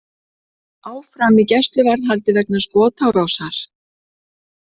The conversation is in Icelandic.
Áfram í gæsluvarðhaldi vegna skotárásar